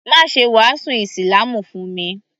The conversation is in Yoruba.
Má ṣe wàásù ísílámù fún mi